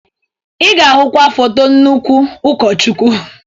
Ị ga-ahụkwa foto nnukwu ụkọchukwu.